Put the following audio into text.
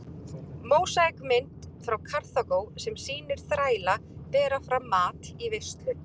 Mósaíkmynd frá Karþagó sem sýnir þræla bera fram mat í veislu.